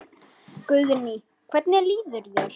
Guðný: Hvernig líður þér?